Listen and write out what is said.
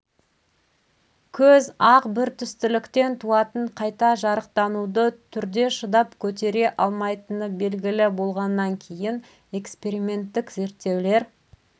көз ақ бір түстіліктен туатын қайта жарықтануды түрде шыдап көтере алмайтыны белгілі болғаннан кейін эксперименттік зерттеулер